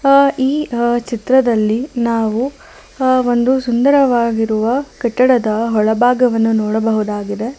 ಆ ಈ ಆ ಚಿತ್ರದಲ್ಲಿ ನಾವು ಆ ಒಂದು ಸುಂದರವಾಗಿರುವ ಕಟ್ಟಡದ ಒಳಭಾಗವನ್ನು ನೋಡಬಹುದಾಗಿದೆ.